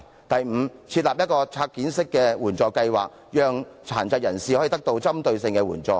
第五，政府應設立拆件式的援助計劃，讓殘疾人士可以獲得具針對性的援助。